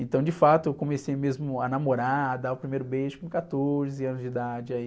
Então, de fato, eu comecei mesmo a namorar, a dar o primeiro beijo com quatorze anos de idade aí.